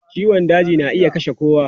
Ciwon daji na iya kashe kowa.